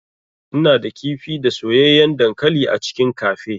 Ina da kifi da soyayyen dankali a cikin cafe.